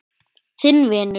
Þinn vinur.